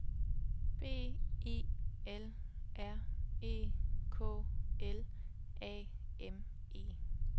B I L R E K L A M E